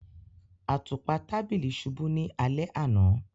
Àtupa tàbílí ṣubú ni alẹ̀ ana.